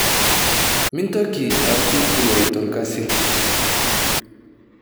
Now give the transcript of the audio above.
Mintoki aaku turuai torkazi